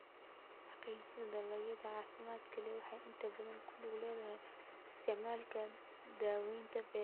Xaqiijinta dalagyada caafimaadka leh waxay inta badan ku lug leedahay isticmaalka daawaynta beeraha gaarka ah.